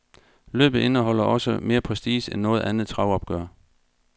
Løbet indeholder også mere prestige end noget andet travopgør.